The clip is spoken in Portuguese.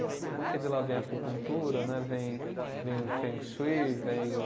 Né, porque de lá vem a acupuntura né vem, vem o Feng Shui, vem o